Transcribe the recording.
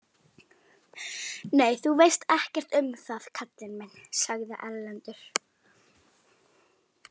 Nei, þú veist ekkert um það kallinn minn, sagði Erlendur.